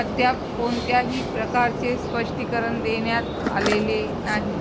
अद्याप कोणत्याही प्रकारचे स्पष्टीकरण देण्यात आलेले नाही